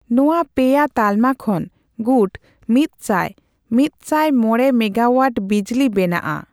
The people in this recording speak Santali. ᱱᱚᱣᱟ ᱯᱮᱭᱟ ᱛᱟᱞᱢᱟ ᱠᱷᱚᱱ ᱜᱩᱴ ᱢᱤᱛ ᱥᱟᱭᱼ ᱢᱤᱛᱥᱟᱭ ᱢᱚᱲᱮ ᱢᱮᱜᱟᱣᱳᱟᱴ ᱵᱤᱡᱽᱞᱤ ᱵᱮᱱᱟᱜᱼᱟ ᱾